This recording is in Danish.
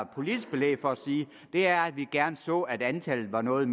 politisk belæg for at sige er at vi gerne så at antallet var noget